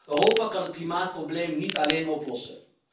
Europa kan het klimaatprobleem niet alleen oplossen.